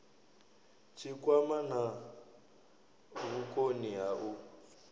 tshikwama na vhukoni ha u